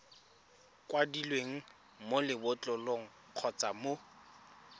kwadilweng mo lebotlolong kgotsa mo